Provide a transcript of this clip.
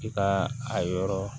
I ka a yɔrɔ